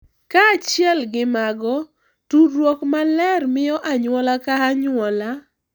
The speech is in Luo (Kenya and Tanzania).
Kaachiel gi mago, tudruok maler miyo anyuola ka anyuola